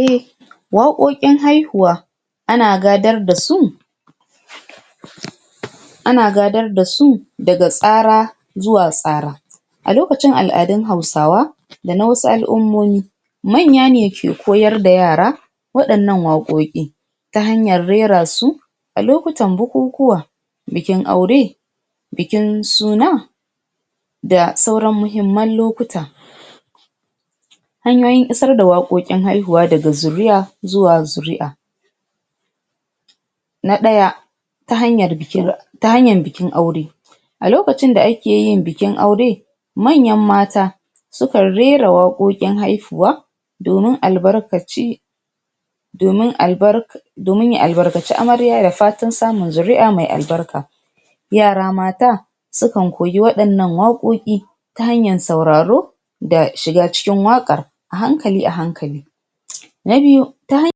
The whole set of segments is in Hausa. a waƙoƙkin haihuwa ana gadar da su ana gadar da su daga tsra zuwa tsara a lokacin al'adun hausawa da na wasu al' ummomi manya ne ke koyar da yara waɗannan waƙoƙi ta hanyar rera su alokutan bukukuwa bikin aure bikin suna da sauran muhimman lokuta hanyoyin isar da waƙoƙin haihuwa daga zuri'a zuwa zuri'a na ɗaya ta hanyar bikin ta hanyan bikin aure alokacin da akeyin bikin aure manyan mata sukan rera waɗoɗin haihuwa domin aibarkaci domin al'bar domin ya al'barkaci amarya da fatan samun ida fatan samun zuri'a mai al'barka yara mata sukan koyi waɗannan waƙoƙi tta hanyan sauraro da shiga cikin waƙa a hakali a hankali na biyu taha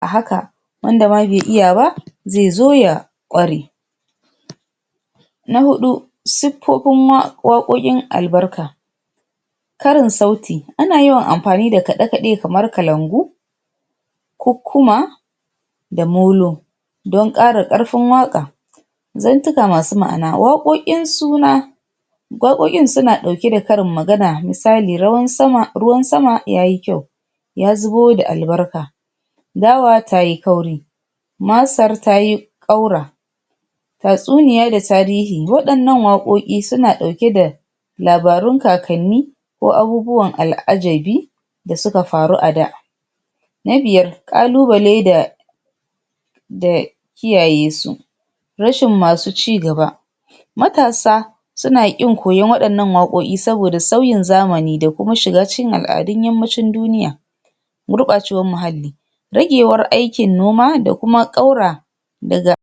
a haka wanda ma bai iya ba zai zo ya ƙware na hu siffofin wa waƙoƙin al'abrka karin sauti ana yawan anfani da kaɗe kaɗe kamar kalangu kukkuma da molo don ƙara ƙatfin waƙa zantuka masu ma'ana wa ƙoƙkin sauna wa ƙokin suna ɗauke da karin magana misali, rawan sama, ruwan sama yayi kyau ya zubo da albarka dawa tayi kauri masar tayi ƙaura tatsuniya da tarihi waɗannan wa ƙo ƙi suna ɗauke da labarun kakani ko abubuwan al'ajabi dasuka faru a da na biya ƙalubale da da kiyaye su rashin masu ci gaba natasa suna ƙin koyon waɗannan waƙoƙi sabida sauyin zamani dakuma shiga cikin al'adun yammacin duniya gurɓacewan muhalli ragewar aikin noma da kuma ƙaura daga